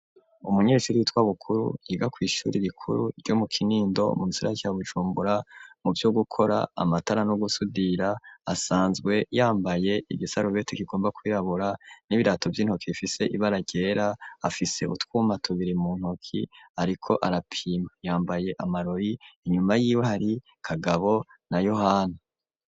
Umunyeshuri yitwa Bukuru yiga kw'ishuri rikuru ryo mu Kinindo mu gisagara ca Bujumbura mu vyo gukora amatara no gusudira, asanzwe yambaye igisarubeti kigomba kwirabura n'ibirato vy'intoki bifise ibara ryera, afise utwuma tubiri mu ntoki, ariko arapima yambaye amarori, inyuma yiwe hari Kagabo na Yohana.